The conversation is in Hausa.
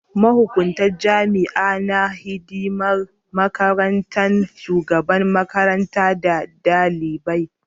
Mahukuntar jami'a na yi hidiman mahaɗin shugaban makaranta da dalibai.